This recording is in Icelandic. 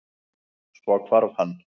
Svo hvarf hann.